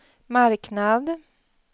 marknad